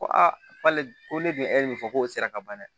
Ko ale ko ne bɛ min fɔ k'o sera ka ban dɛ